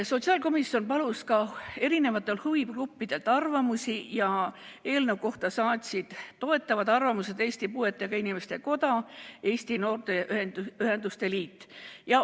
Sotsiaalkomisjon palus arvamusi ka erinevatelt huvigruppidelt ja eelnõu kohta saatsid toetavad arvamused Eesti Puuetega Inimeste Koda ja Eesti Noorteühenduste Liit.